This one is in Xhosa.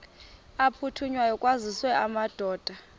aphuthunywayo kwaziswe amadoda